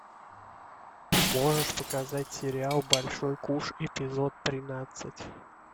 можешь показать сериал большой куш эпизод тринадцать